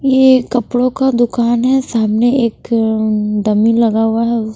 ये कपड़ों का दुकान है सामने एक अ उम्म डमी लगा हुआ है।